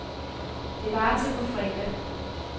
Det varer til på fredag.